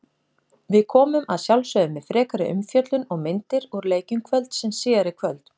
Við komum að sjálfsögðu með frekari umfjöllun og myndir úr leikjum kvöldsins síðar í kvöld.